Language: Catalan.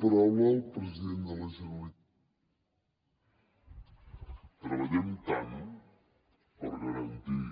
treballem tant per garantir